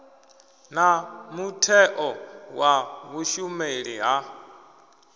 na mutheo wa vhushumeli ha